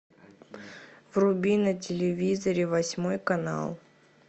вруби на телевизоре восьмой канал